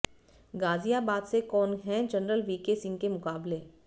गाजियाबाद से कौन है जनरल वीके सिंह के मुकाबले